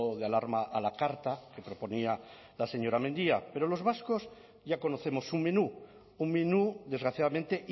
de alarma a la carta que proponía la señora mendia pero los vascos ya conocemos su menú un menú desgraciadamente